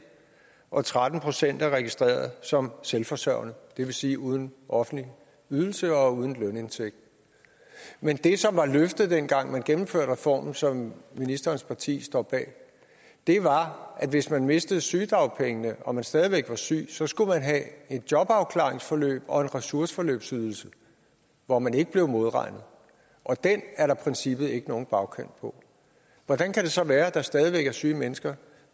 og tretten procent er registreret som selvforsørgende det vil sige uden offentlig ydelse og uden lønindtægt men det som var løftet dengang man gennemførte reformen som ministerens parti står bag var at hvis man mistede sygedagpengene og man stadig væk var syg så skulle man have et jobafklaringsforløb og en ressourceforløbsydelse hvor man ikke blev modregnet og den er der i princippet ikke nogen bagkant på hvordan kan det så være at der stadig væk er syge mennesker